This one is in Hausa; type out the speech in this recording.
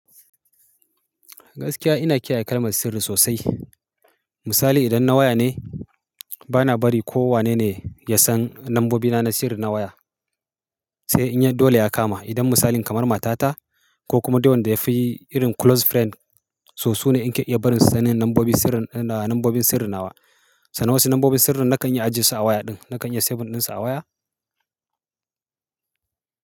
Gaskiya ina kiyaye kalmar sirri sosai. Misali idan na waya ne, bana bari ko wane ne ya san nambobi na na sirri na waya. Sai in yad dole ya kama, idan misali kamar matata ko kuma dai wanda yafi irin close friend, su su ne in ke iya barin su sanin nambobin sirrin ina nambobin sirri na wa. Sanan wasu nambobin sirrin nakan yi ajisu a waya din, nakan yi a save ɗin su a waya.